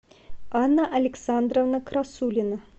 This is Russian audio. анна александровна красулина